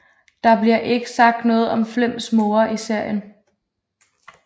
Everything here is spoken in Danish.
Der bliver ikke sagt noget om Flems mor i serien